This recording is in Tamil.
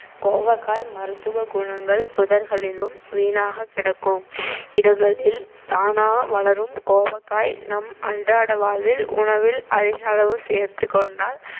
கோவக்காய் மருத்துவ குணங்கள் புதர்களிலும் வீணாகக் கிடக்கும் இடங்களில் தானா வளரும் கோவக்காய் நம் அன்றாட வாழ்வில் உணவில் அதிக அளவு சேர்த்துக்கொண்டால்